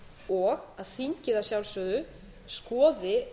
og að þingið að sjálfsögðu skoði